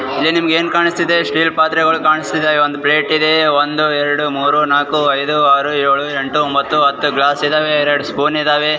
ಇಲ್ಲಿ ನಿಮ್ಗೆ ಏನ್ ಕಾಣಿಸ್ತಿದೆ ಸ್ಟೀಲ್ ಪಾತ್ರೆಗಳು ಕಾಣಿಸ್ತಿದಾವೆ ಒಂದು ಪ್ಲೇಟ್ ಇದೆ ಒಂದು ಎರ್ಡು ಮೂರು ನಾಕ್ ಐದ್ ಆರು ಏಳು ಎಂಟು ಒಂಭತ್ತು ಹತ್ತು ಗ್ಲಾಸ್ ಇದಾವೆ ಎರಡು ಸ್ಪೂನ್ ಇದಾವೆ.